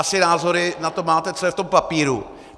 Asi názory na to máte, co je v tom papíru.